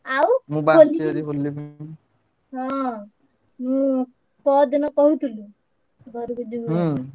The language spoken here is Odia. ଆଉ ହଁ ମୁଁ ପହର ଦିନ କହୁଥିଲି ଘରକୁ ଯିବି ବୋଲି